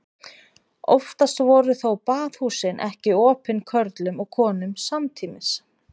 Oftast voru þó baðhúsin ekki opin körlum og konum samtímis.